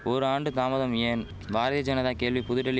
ஒர் ஆண்டு தாமதம் ஏன் பாரதிய ஜனதா கேள்வி புதுடில்லி